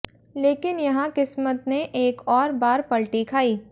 लेकिन यहां किस्मत ने एक और बार पलटी खाई